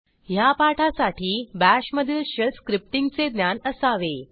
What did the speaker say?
ह्या पाठासाठी BASHमधील शेल स्क्रिप्टींगचे ज्ञान असावे